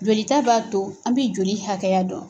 Jolita b'a to an mɛ joli hakɛya dɔn.